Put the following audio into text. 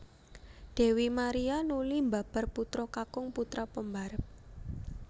Dèwi Maria nuli mbabar putra kakung putra pembarep